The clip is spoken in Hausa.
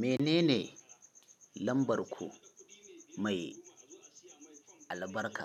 Menene lambar ku mai albarka?